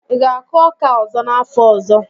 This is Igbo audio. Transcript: Ị ga-akụ ọka ọzọ n'afọ ọzọ?